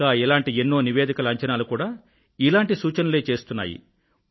ఇంకా ఇలాంటి ఎన్నో నివేదికల అంచనాలు కూడా ఇలాంటి సూచనలే చేస్తున్నాయి